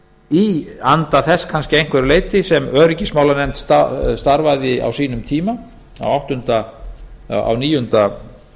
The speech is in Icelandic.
í anda þess kannski að einhverju leyti sem öryggismálanefnd starfaði á sínum tíma á